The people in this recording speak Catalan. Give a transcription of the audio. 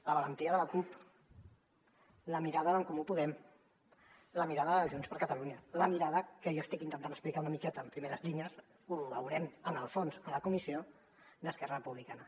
la valentia de la cup la mirada d’en comú podem la mirada de junts per catalunya la mirada que jo estic intentant explicar una miqueta en primeres línies ho veurem en el fons a la comissió d’esquerra republicana